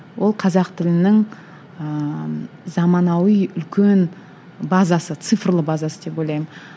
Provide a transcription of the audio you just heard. ол қазақ тілінің ііі заманауи үлкен базасы цифрлы базасы деп ойлаймын